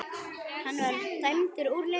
Var hann dæmdur úr leik?